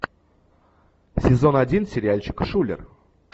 сезон один сериальчик шулер